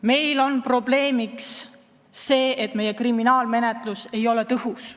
Meil on probleemiks see, et meie kriminaalmenetlus ei ole tõhus.